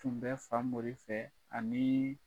Tun bɛ Famori fɛ aniii